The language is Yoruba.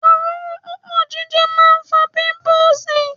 Òróró púpọ̀ jíjẹ máa ń fa píńpúùsì.